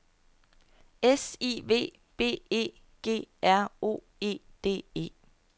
S I V B E G R O E D E